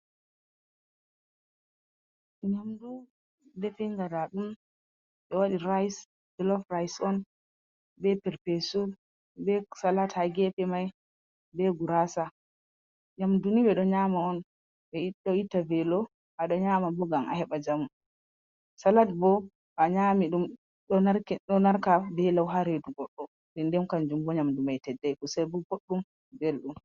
Nyamdu definga nda ɗum ɓe waɗi rice felof rise on, be perpesu, be salat ha gefe mai, be gurasa. Nyamduni ɓe ɗon nyama on ɓe ɗo ita velo a ɗon nyama bo ngam a heɓa jamu, salat bo to a nyami ɗum ɗo narka be lau ha redu goɗɗo den den kanjum bo nyamdu mai teddai, kusal bo boɗɗum belɗum.